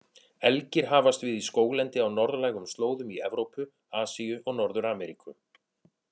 Elgir hafast við í skóglendi á norðlægum slóðum í Evrópu, Asíu og Norður-Ameríku.